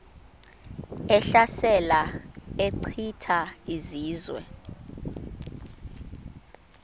ehlasela echitha izizwe